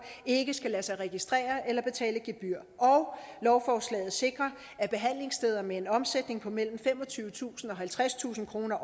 ikke skal lade sig registrere eller betale gebyr og lovforslaget sikrer at behandlingssteder med en årlig omsætning på mellem femogtyvetusind og halvtredstusind kroner